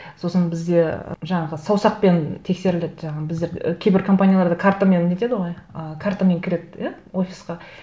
сосын бізде і жаңағы саусақпен тексеріледі жаңағы біздер і кейбір компанияларда картамен нетеді ғой ы картамен кіреді иә офисқа